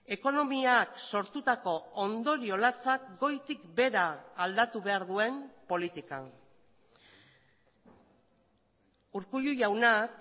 ekonomiak sortutako ondorio latzak goitik behera aldatu behar duen politika urkullu jaunak